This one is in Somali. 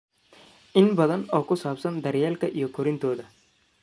in badan oo ku saabsan daryeelka iyo korintooda.